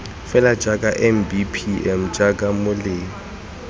fela jaaka mbpm jaaka boleng